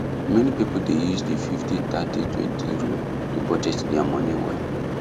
many people dey use the fifty thirty twenty rule to budget their money well